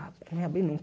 Não abrir